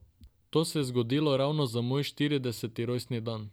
To se je zgodilo ravno za moj štirideseti rojstni dan.